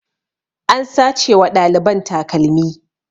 An sace wa ɗaliban takalmi